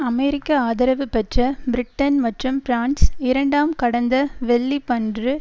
அமெரிக்க ஆதரவு பெற்ற பிரிட்டன் மற்றும் பிரான்ஸ் இரண்டாம் கடந்த வெள்ளிபன்று